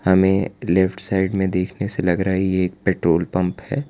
हमें left side में देखने से लग रहा है ये एक पेट्रोल पंप है।